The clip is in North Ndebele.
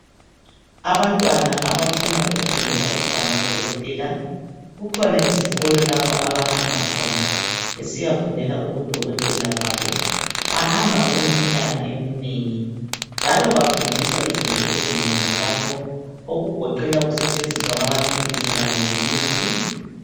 Abantwana abafuna ukufundela ukuba ngodokotela, kukhona izikolo lapho abahamba khona besiyafundela ubudokotela babo. Bahamba okweminyaka eminengi, njalo bafundiswa izinto ezinengi lapho, okugeqela ukusetshenziswa kwamaphilisi kanye lemithi.